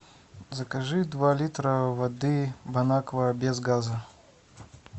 закажи два литра воды бонаква без газа